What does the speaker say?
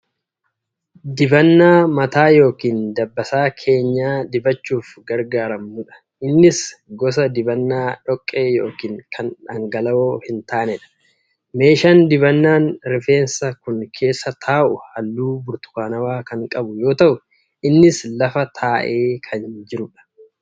Dibannaa mataa yookiin dabbasaa keenya dibachuuf gargaaramnudha. Innis gusa dibannaa dhoqqee yookiin kan dhangala'oo hin taanedha. Meeshaan dibannaan rifeensaa kun keessa taa'u haalluu burtukaanawaa kan qabu yoo ta'u innis lafa taa'ee kan jirudha.